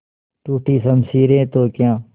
टूटी शमशीरें तो क्या